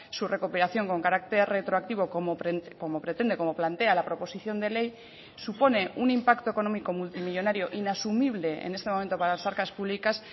su recuperación con carácter retroactivo como pretende como plantea la proposición de ley supone un impacto económico multimillónario inasumible en este momento para las arcas públicas